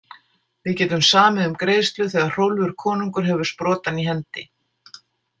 Við getum samið um greiðslu þegar Hrólfur konungur hefur sprotann í hendi.